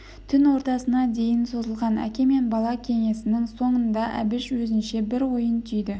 түн ортасына дейін созылған әке мен бала кеңесінің соңында әбіш өзінше бір ойын түйді